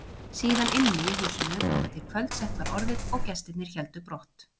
Síðan inni í húsinu þangað til kvöldsett var orðið og gestirnir héldu brott.